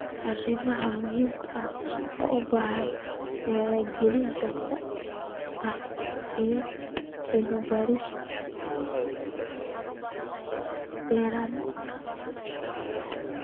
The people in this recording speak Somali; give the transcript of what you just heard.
Arimo muhiim ah oo u baahan wacyigelin joogto ah iyo cilmi baaris dheeraad ah.